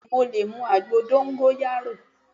Bẹ́ẹ̀ni mo lè mu àgbo dóngóyárò